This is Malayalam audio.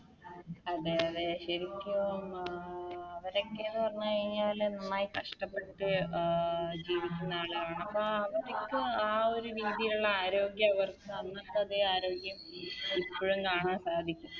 അതെ അതെ ശെരിക്കും ഏർ അവരൊക്കെ ന്ന് പറഞ്ഞ് കയിഞ്ഞാല് നന്നായി അഹ് കഷ്ടപ്പെട്ട് ജീവിക്കുന്ന ആളാണ് അപ്പൊ അവരിക്കു ആ ഒരു രീതിലുള്ള ആരോഗ്യ അവർക്ക് അന്നത്തതെ ആരോഗ്യം ഇപ്പഴും കാണാൻ സാധിക്കും